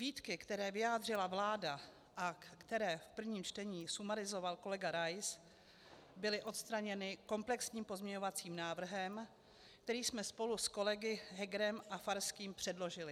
Výtky, které vyjádřila vláda a které v prvním čtení sumarizoval kolega Rais, byly odstraněny komplexním pozměňovacím návrhem, který jsme spolu s kolegy Hegerem a Farským předložili.